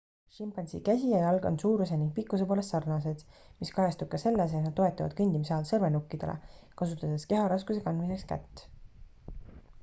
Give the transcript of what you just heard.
šimpansi käsi ja jalg on suuruse ning pikkuse poolest sarnased mis kajastub ka selles et nad toetuvad kõndimise ajal sõrmenukkidele kasutades keharaskuse kandmiseks kätt